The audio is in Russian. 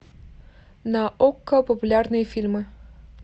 на окко популярные фильмы